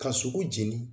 Ka sogo jeni